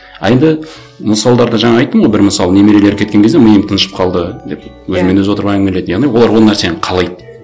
а енді мысалдарда жаңа айттым ғой бір мысал немерелері кеткен кезде миым тыныштап қалды деп өзімен өзі отырып әңгімелейді яғни олар ол нәрсені қалайды